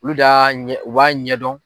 Olu d'a ɲɛ u b'a ɲɛ dɔn.